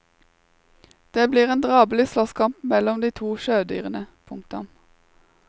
Det blir en drabelig slåsskamp mellom de to sjødyrene. punktum